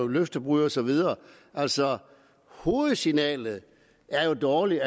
løftebrud og så videre altså hovedsignalet er jo dårligt